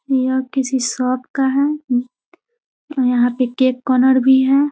यह किसी शॉप का है यहाँ पे केक का ओनर भी है |